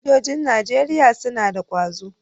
Sojojin Najeriya suna da kwazo.